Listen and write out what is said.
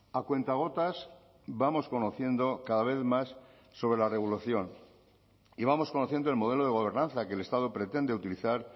a cuentagotas vamos conociendo cada vez más sobre la revolución y vamos conociendo el modelo de gobernanza que el estado pretende utilizar